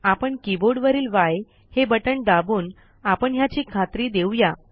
आपण कीबोर्डवरील य हे बटण दाबून आपण ह्याची खात्री देऊया